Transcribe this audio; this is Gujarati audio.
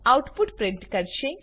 આઉટપુટ પ્રિન્ટ કરશે